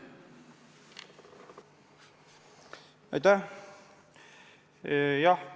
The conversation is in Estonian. Aitäh!